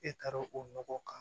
E taara o nɔgɔ kan